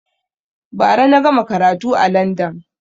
Ba ra na gama karatu a landan